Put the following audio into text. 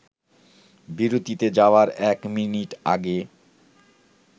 বিরতিতে যাওয়ার এক মিনিট আগে